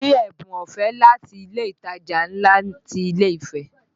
Mo ní ẹ̀bùn ọ̀fẹ́ láti ilé ìtajà ńlá ti ilé Ifẹ